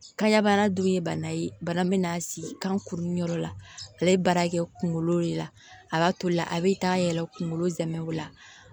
Ka ɲa bana dun ye bana ye bana min n'a sigi kan kurun yɔrɔ la ale ye baara kɛ kunkolo de la a b'a to la a bi taa yɛlɛ kunkolo zamɛ o la